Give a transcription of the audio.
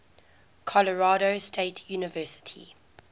colorado state university